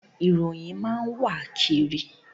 Ìròyìn máa n wa kiri.